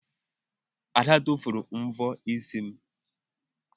Ada tụfuru mvọ isi m.